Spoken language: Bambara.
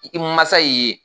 I mansa y'i ye